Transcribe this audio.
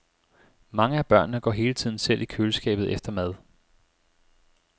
Mange af børnene går hele tiden selv i køleskabet efter mad.